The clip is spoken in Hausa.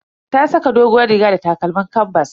Ta saka doguwar riga da takalmin kanbas.